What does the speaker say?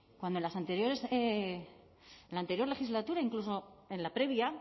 cuando en las anteriores en la anterior legislatura incluso en la previa